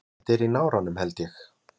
Þetta er í náranum held ég.